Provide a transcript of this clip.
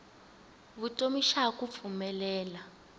vutomi xa ha ku pfumelela